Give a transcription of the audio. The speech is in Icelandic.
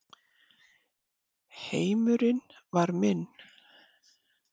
Heimurinn var minn.